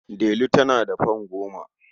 Delu tana da fam goma.